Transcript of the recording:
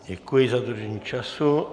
Děkuji za dodržení času.